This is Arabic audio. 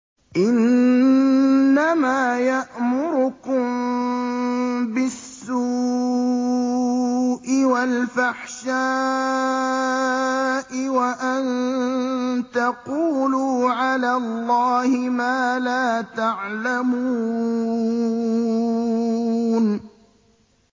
إِنَّمَا يَأْمُرُكُم بِالسُّوءِ وَالْفَحْشَاءِ وَأَن تَقُولُوا عَلَى اللَّهِ مَا لَا تَعْلَمُونَ